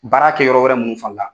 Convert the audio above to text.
Baara kɛ yɔrɔ wɛrɛ minnu fana la.